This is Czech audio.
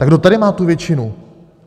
Tak kdo tady má tu většinu?